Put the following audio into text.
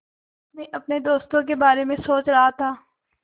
मैं अपने दोस्तों के बारे में सोच रहा था